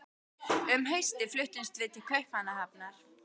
Um haustið fluttumst við til Kaupmannahafnar.